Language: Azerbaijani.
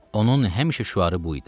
Onun həmişə şüarı bu idi: